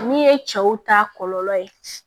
Min ye cɛw ta kɔlɔlɔ ye